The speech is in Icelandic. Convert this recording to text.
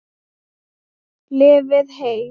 Lifið heil!